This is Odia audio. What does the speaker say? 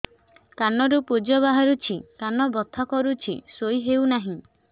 କାନ ରୁ ପୂଜ ବାହାରୁଛି କାନ ବଥା କରୁଛି ଶୋଇ ହେଉନାହିଁ